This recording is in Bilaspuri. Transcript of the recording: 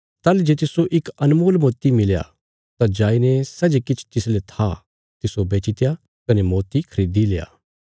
ताहली जे तिस्सो इक अनमोल मोती मिलया तां जाईने सै जे किछ तिसले था तिस्सो बेचीत्या कने मोती खरीदिल्या